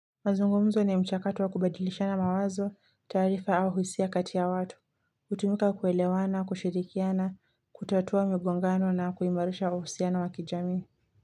Mazungumzo ni mchakato wa kubadilishana mawazo, taarifa au hisia kati ya watu, hutumika kuelewana, kushirikiana, kutatua migongano na kuimarisha uhusiano wa kijamii.